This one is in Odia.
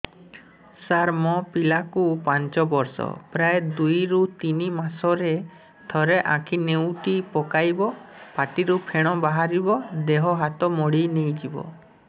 ସାର ମୋ ପିଲା କୁ ପାଞ୍ଚ ବର୍ଷ ପ୍ରାୟ ଦୁଇରୁ ତିନି ମାସ ରେ ଥରେ ଆଖି ନେଉଟି ପକାଇବ ପାଟିରୁ ଫେଣ ବାହାରିବ ଦେହ ହାତ ମୋଡି ନେଇଯିବ